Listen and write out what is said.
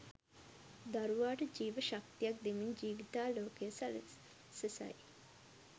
දරුවාට ජීව ශක්තියක් දෙමින් ජීවිතාලෝකය සලසසයි.